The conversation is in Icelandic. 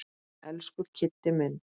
Elsku Kiddi minn.